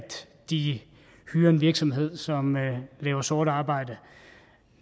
de hyrer en virksomhed som laver sort arbejde